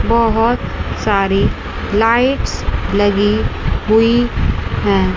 बहुत सारी लाइट्स लगी हुई है।